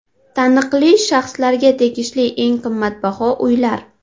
Taniqli shaxslarga tegishli eng qimmatbaho uylar .